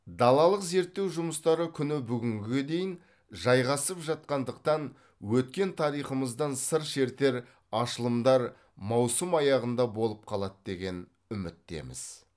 далалық зерттеу жұмыстары күні бүгінге дейін жайғасып жатқандықтан өткен тарихымыздан сыр шертер ашылымдар маусым аяғында болып қалады деген үміттеміз